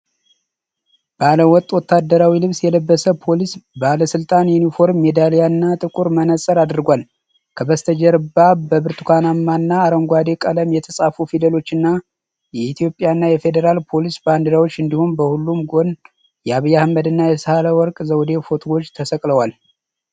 ባለ ወጥ ወታደራዊ ልብስ የለበሰ ፖሊስ ባለስልጣን ዩኒፎርም፣ ሜዳሊያና ጥቁር መነጽር አድርጓል። ከበስተጀርባ በብርቱካንና አረንጓዴ ቀለም የተጻፉ ፊደሎችና የኢትዮጵያና የፌደራል ፖሊስ ባንዲራዎች እንዲሁም በሁለቱም ጎን የአብይ አህመድና የሣህለወርቅ ዘውዴ ፎቶግራፎች ተሰቅለዋል።